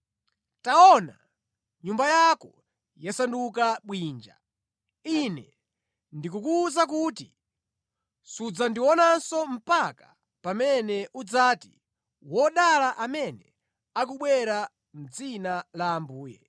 Taona, nyumba yako yasanduka bwinja. Ine ndikukuwuza kuti, sudzandionanso mpaka pamene udzati, “Wodala amene akubwera mʼdzina la Ambuye!”